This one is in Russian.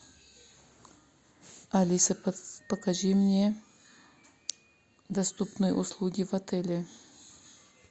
алиса покажи мне доступные услуги в отеле